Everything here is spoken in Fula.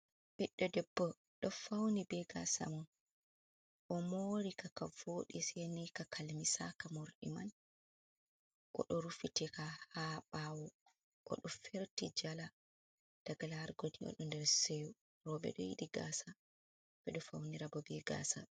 Ɓiɗɗo debbo ɗo fauni be gaasa mum. o moori ka, ka wooɗi saini ka kalmisaaka morɗi man, oɗo rufitika haa ɓawo. Oɗo ferti jala, daga larugo ni oɗo nder seho. Rooɓe ɗo yiɗi gaasa, ɓe ɗo faunira bo be gaasa.